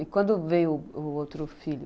E quando veio o o outro filho?